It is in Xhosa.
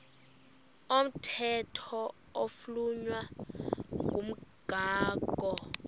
komthetho oflunwa ngumgago